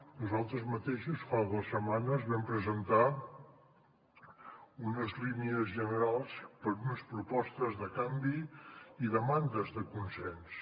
nosaltres mateixos fa dues setmanes vam presentar unes línies generals per a unes propostes de canvi i demandes de consens